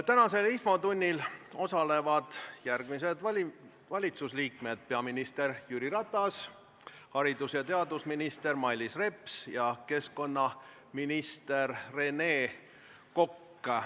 Tänases infotunnis osalevad järgmised valitsuse liikmed: peaminister Jüri Ratas, haridus- ja teadusminister Mailis Reps ning keskkonnaminister Rene Kokk.